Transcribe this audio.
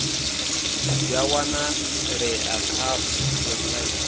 zwi a wanalea kha website